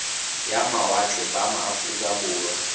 ya mawatle ba aforika borwa